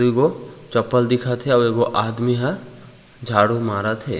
एगो चप्पल दिखत हे आऊ एगो आदमी ह झाड़ू मारत हे।